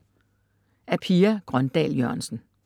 Af Pia Grøndahl Jørgensen